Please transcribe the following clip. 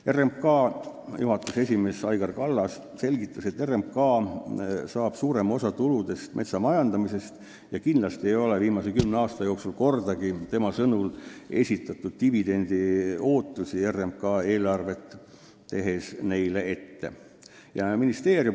RMK juhatuse esimees Aigar Kallas selgitas, et RMK saab suurema osa tuludest metsa majandamisest ja kindlasti ei ole viimase kümne aasta jooksul RMK eelarve tegemisel kordagi dividendi ootusi ette esitatud.